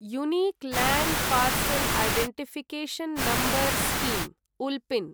unique land parcel identification number scheme (उल्पिन्)